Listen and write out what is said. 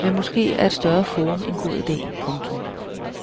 men måske er et større forum en god ide. punktum